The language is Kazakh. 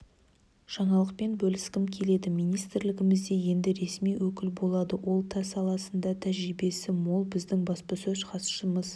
жаңалықпен бөліскім келеді министрлігімізде енді ресми өкіл болады ол та саласында тәжірибесі мол біздің баспасөз хатшымыз